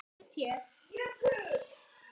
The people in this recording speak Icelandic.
hváði ég.